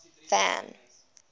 van